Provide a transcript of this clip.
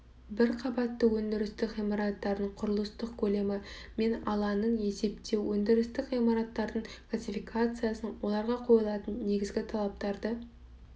бір қабатты өндірістік ғимараттардың құрылыстық көлемі мен алаңын есептеу өндірістік ғимараттардың классификациясын оларға қойылатын негізгі талаптарды